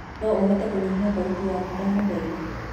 no uhote kunyihia thaũtĩ yakũ ndagũthaĩtha